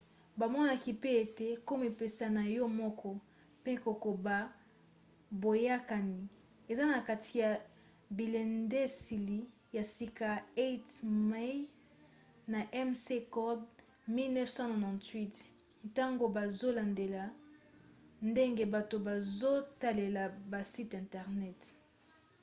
bamonaki pe ete komipesa na yo moko” mpe kokoba boyokani” eza na kati ya bilendiseli ya sika ya eighmey na mccord 1998 ntango bazolandela ndenge bato bazotalela basite internet